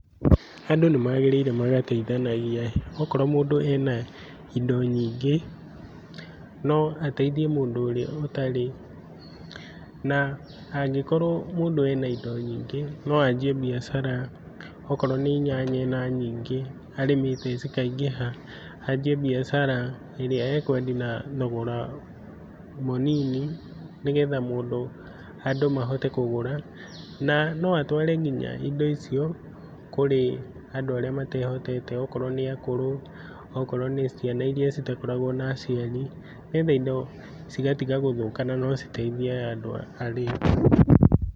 Andũ nĩmagĩrĩire magateithanagia. Akorwo mũndũ ena indo nyingĩ, no ateithie mũndũ ũrĩa ũtarĩ, na angĩkorwo mũndũ ena indo nyingĩ no anjie mbiacara. Okorwo nĩ nyanya ena nyingĩ arĩmĩte cikaingĩha, anjie mbiacara ĩrĩa ekwendia na thogora mũnini nĩgetha mũndũ, andũ mahote kũgũra, na no atware nginya indo icio kũrĩ andũ arĩa matehotete akorwo nĩ akũrũ, akorwo nĩ ciana iria citakoragwo na aciari. Nĩgetha indo cigatiga gũthũka na no citeithie aya andũ.